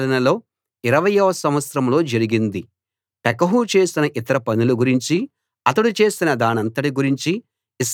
పెకహు చేసిన ఇతర పనుల గురించి అతడు చేసిన దానంతటి గురించి ఇశ్రాయేలు రాజుల చరిత్ర గ్రంథంలో రాసి ఉంది